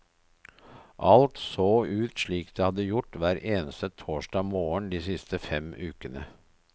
Alt så ut slik det hadde gjort hver eneste torsdag morgen de siste fem ukene.